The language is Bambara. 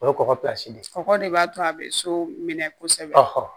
O ye kɔgɔ de ye kɔkɔ de b'a to a bɛ so minɛ kosɛbɛ